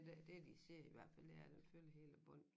Det dét de siger i hvert fald det er den fylder hele bunden